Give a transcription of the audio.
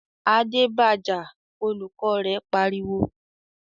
"Adé ba jà!" Olùkọ́ rẹ̀ pariwo.